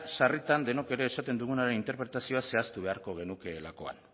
sarritan denok ere esaten dugunaren interpretazioa zehaztu beharko genukeelakoan